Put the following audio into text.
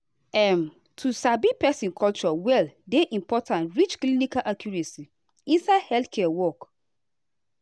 um to sabi person culture well dey important reach clinical accuracy inside healthcare work.